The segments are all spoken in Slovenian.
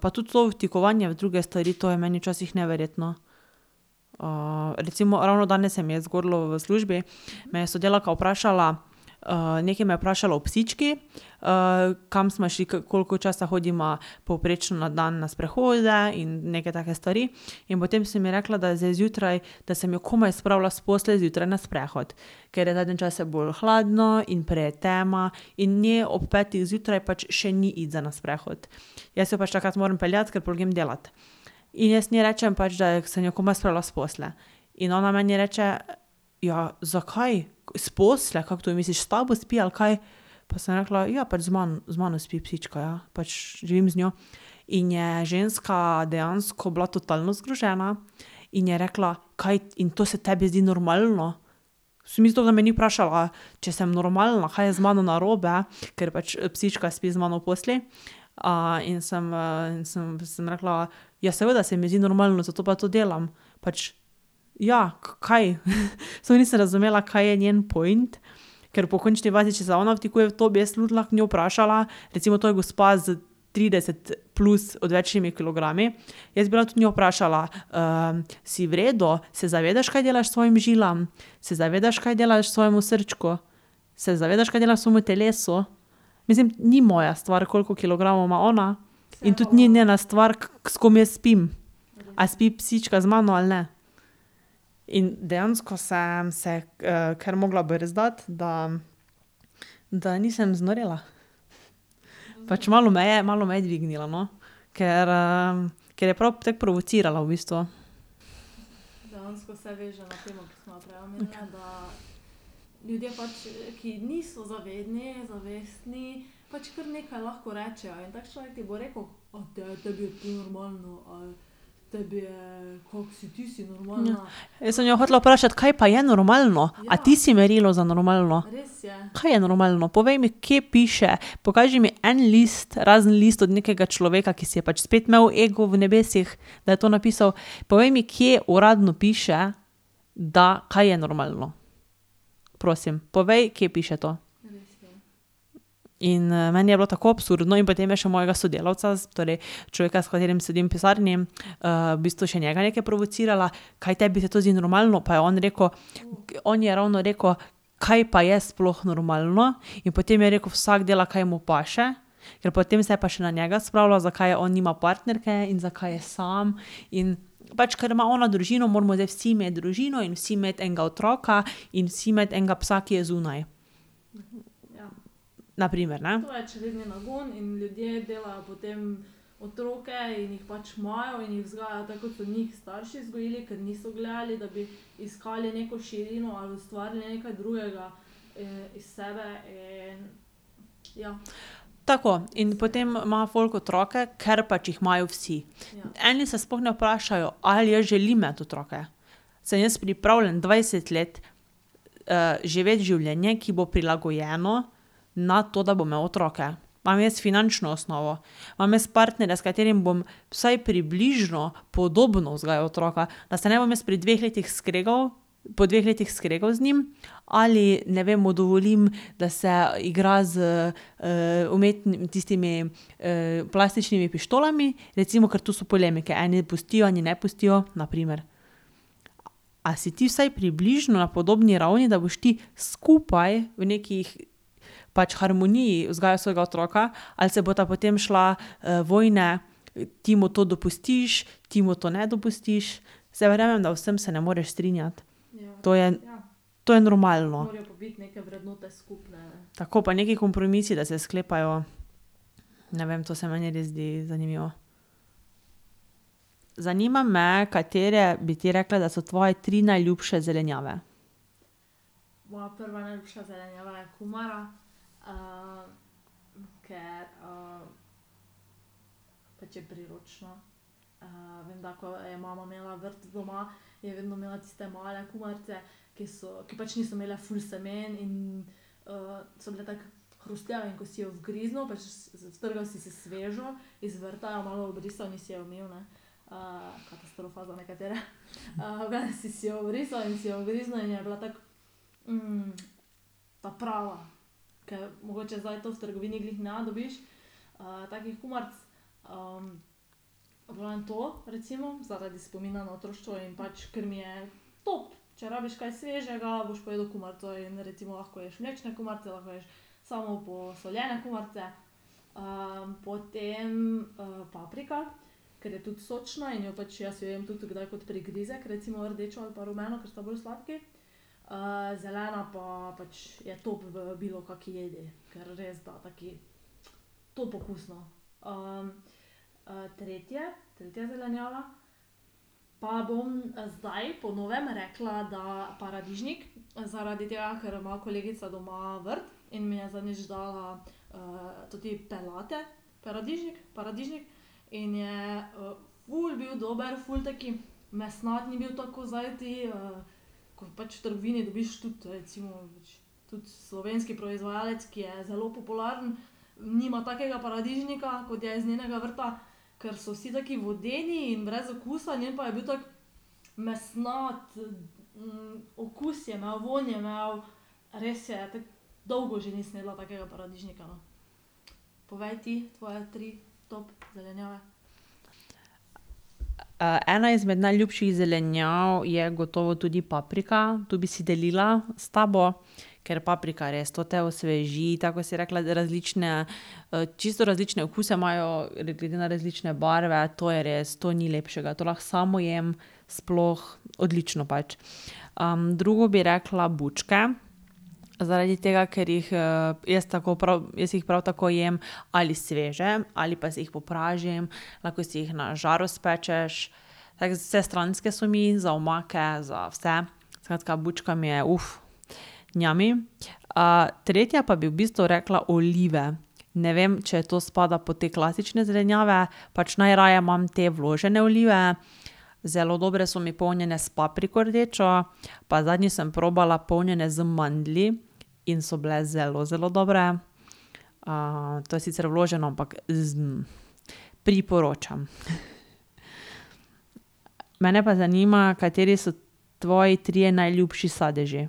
pa tudi to vtikovanje v druge stvari, to je meni včasih neverjetno. recimo, ravno danes se mi je zgodilo v službi. Me je sodelavka vprašala, nekaj me je vprašala o psički, kam smo šli, koliko časa hodiva povprečno na dan na sprehode in neke take stvari. In potem sem ji rekla, da zdaj zjutraj, da sem jo komaj spravila s postelje zjutraj na sprehod. Ker je zadnje čase bolj hladno in prej je tema, in njej ob petih zjutraj pač še ni iti za na sprehod. Jaz jo pač takrat morem peljati, ker pol grem delat. In jaz njej rečem, da sem jo komaj spravila s postelje. In ona meni reče: "Ja, zakaj? S postelje? Kako to misliš, s tabo spi ali kaj?" Pa sem rekla: "Ja, pač z z mano spi psička, ja. Pač živim z njo." In je ženska dejansko bila totalno zgrožena. In je rekla: "Kaj, in to se tebi zdi normalno?" da me ni vprašala, če sem normalna, kaj je z mano narobe, ker pač psička spi z mano v postelji. in sem, in sem, sem rekla: "Ja, seveda se mi zdi normalno, zato pa to delam." Pač ja, kaj. Sploh nisem razumela, kaj je njen point, ker po končni fazi, če se ona vtikuje v to, bi tudi jaz lahko njo vprašala, recimo, to je gospa s trideset plus odvečnimi kilogrami, jaz bi lahko tudi njo vprašala: si v redu? Se zavedaš, kaj delaš svojim žilam? Se zavedaš, kaj delaš svojemu srčku? Se zavedaš, kaj delaš svojemu telesu?" Mislim, ni moja stvar, koliko kilogramov ima ona, in tudi ni njena stvar, s kom jaz spim. A spi psička z mano ali ne. In dejansko sem se, kar mogla brzdati, da, da nisem znorela. Pač malo me je, malo me je dvignilo, no. Ker, ker je prav tako provocirala v bistvu. Ja. Jaz sem jo hotela vprašati: "Kaj pa je normalno? A ti si merilo za normalno?" Kaj je normalno? Povej mi, kje piše. Pokaži mi en list, razen list od nekega človeka, ki si je pač spet imel ego v nebesih, da je to napisal, povej mi, kje uradno piše, da, kaj je normalno. Prosim. Povej, kje piše to. In, meni je bilo tako absurdno in potem je še mojega sodelavca torej, človeka, s katerim sedim v pisarni, v bistvu še njega nekaj provocirala: "Kaj tebi se to zdi normalno?" Pa je on rekel, on je ravno rekel: "Kaj pa je sploh normalno?" In potem je rekel: "Vsak dela, kaj mu paše." Ker potem se je pa še na njega spravila, zakaj on nima partnerke in zakaj je sam in ... Pač ker ima ona družino, moramo zdaj vsi imeti družino in vsi imeti enega otroka in vsi imeti enega psa, ki je zunaj. Na primer, ne. Tako. In potem ima folk otroke, ker pač jih imajo vsi. Eni se sploh ne vprašajo: "Ali jaz želim imeti otroke? Sem jaz pripravljen dvajset let, živeti življenje, ki bo prilagojeno na to, da bom imel otroke? Imam jaz finančno osnovo? Imam jaz partnerja, s katerim bom vsaj približno podobno vzgajal otroka? Da se ne bom jaz pri dveh letih skregal, po dveh letih skregal z njim? Ali, ne vem, mu dovolim, da se igra s, tistimi, plastičnimi pištolami, recimo, ker tu so polemike." Eni pustijo, eni ne pustijo, na primer. A si ti vsaj približno na podobni ravni, da boš ti skupaj v neki pač harmoniji vzgajal svojega otroka, ali se bosta potem šla, vojne: ti mu to dopustiš, ti mu to ne dopustiš. Saj verjamem, da v vsem se ne moreš strinjati, to je, to je normalno. Tako. Pa neki kompromisi, da se sklepajo. Ne vem, to se meni res zdi zanimivo. Zanima me, katere bi ti rekla, da so tvoje tri najljubše zelenjave. ena izmed najljubših zelenjav je gotovo tudi paprika. Tu bi si delila s tabo, ker paprika je res, to te osveži, tako kot si ti rekla, za različne, čisto različne okuse imajo, glede na različne barve. To je res, to ni lepšega. To lahko samo jem sploh odlično pač. drugo bi rekla bučke. Zaradi tega, ker jih, jaz tako prav, jaz jih prav tako jem ali sveže ali pa si jih popražim. Lahko si jih na žaru spečeš. Tako vsestranske so mi, za omake, za vse. Skratka, bučka mi je, tretja pa bi v bistvu rekla olive. Ne vem, če to spada pod te klasične zelenjave. Pač najraje imam te vložene olive. Zelo dobre so mi polnjene s papriko rdečo. Pa zadnjič sem probala polnjene z mandlji in so bile zelo, zelo dobre. to je sicer vloženo, ampak priporočam. Mene pa zanima, kateri so tvoji trije najljubši sadeži.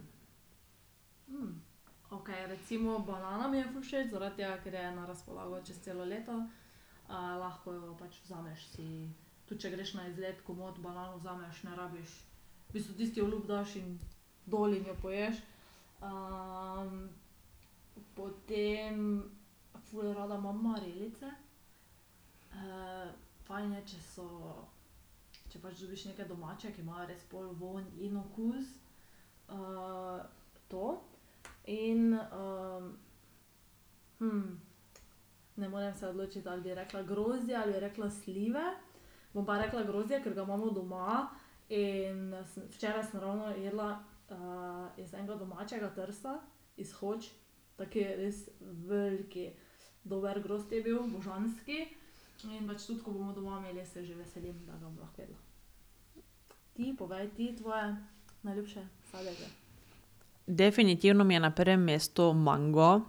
Definitivno mi je na prvem mestu mango,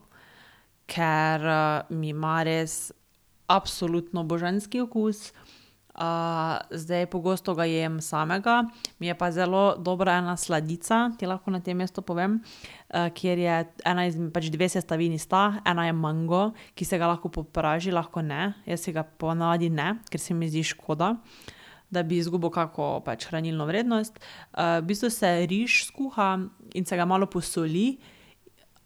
ker, mi ima res absolutno božanski okus. zdaj, pogosto ga jem samega, mi je pa zelo dobra ena sladica, ti lahko na tem mestu povem, kjer je ena pač dve sestavini sta, ena je mango, ki se ga lahko popraži, lahko ne. Jaz si ga po navadi ne, ker se mi zdi škoda, da bi izgubil kako pač hranilno vrednost. v bistvu se riž skuha in se ga malo posoli.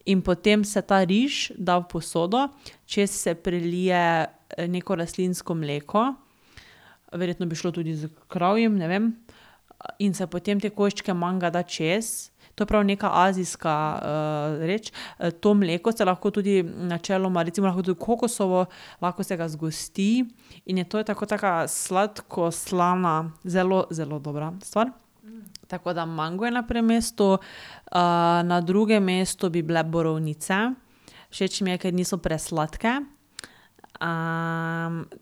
In potem se ta riž da v posodo, čez se prelije neko rastlinsko mleko, verjetno bi šlo tudi s kravjim, ne vem, in se potem te koščke manga da čez. To je prav neka azijska, reč. to mleko se lahko tudi, načeloma recimo lahko je tudi kokosovo, lahko se ga zgosti in je to tako kot taka sladko-slana zelo, zelo dobra stvar. Tako da mango je na prvem mestu. na drugem mestu bi bile borovnice. Všeč mi je, ker niso presladke.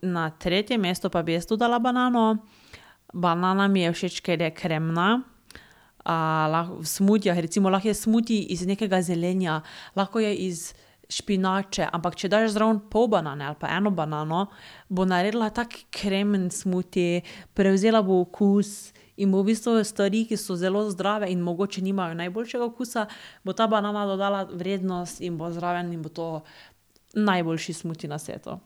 na tretje mesto pa bi jaz tudi dala banano. Banana mi je všeč, ker je kremna, v smutijih, recimo lahko je smuti iz nekega zelenja, lahko je iz špinače, ampak če daš zraven pol banane ali pa eno banano, bo naredila tak kremen smuti, prevzela bo okus in bo v bistvu stvari, ki so zelo zdrave in mogoče nimajo najboljšega okusa, bo ta banana dodala vrednost in bo zraven in bo to najboljši smuti na svetu.